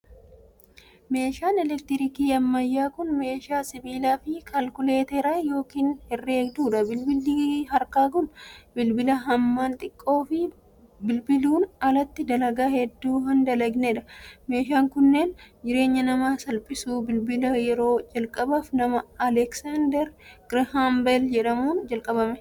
Meeshaan elektirooniksii ammayyaa kun, meeshaa bilbilaa fi kaalkuleetarii yookiin herreegduu dha. Bilbilli harkaa kun, bilbila hammaan xiqqoo fi bilbiluun alatti dalagaa hedduu hin dalagnee dha. Meeshaaleen kunneen, jireenya namaa salphisu. Bilbilla yeroo jalqabaaf nama Aleeksaandar Girhaam beel jedhamuun kalaqame.